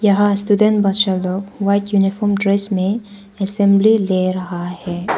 यहां स्टूडेंट बच्चा लोग व्हाइट यूनिफॉर्म ड्रेस में असेंबली ले रहा है।